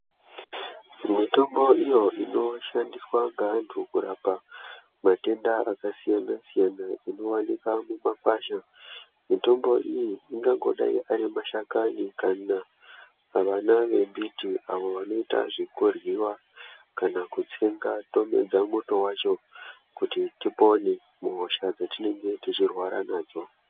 Mitombo iyo inoshandiswa ngeantu kurapa matenda akasiyana siyana inowanikwa mumakwasha, mitombo iyi ingangodai ari mashakani kana vana vembiti avo vanoita zvekuryiwa kana kutsenga tomedza muto wacho kuti tipone muhosha dzatinenge tichirwara nadzo.